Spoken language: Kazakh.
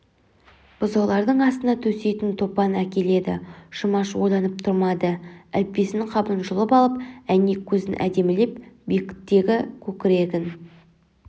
бұзаулардың астына төсейтін топан әкеледі жұмаш ойланып тұрмады әліппесініңқабын жұлып алып әйнек көзін әдемілеп бекітгі көкірегін